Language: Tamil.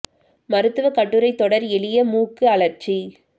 மருத்துவக் கட்டுரை தொடர் எளிய மூக்கு அழற்சி